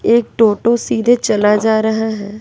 एक टोटो सीधे चला जा रहा है।